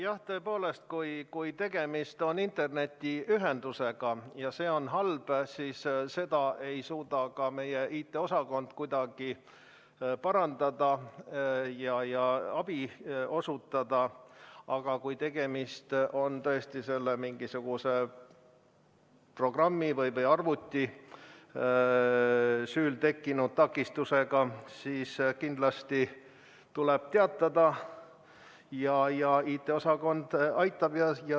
Jah, tõepoolest, kui tegemist on halva internetiühendusega, siis seda ei suuda meie IT-osakond kuidagi parandada ega abi osutada, aga kui tegemist on mingisuguse programmi või arvuti süül tekkinud takistusega, siis kindlasti tuleb teatada ja IT-osakond aitab.